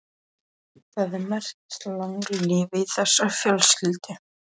Það er merkilegt langlífi í þessari fjölskyldu.